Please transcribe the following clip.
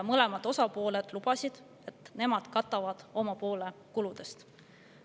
Mõlemad osapooled lubasid, et nemad katavad oma poole kuludest.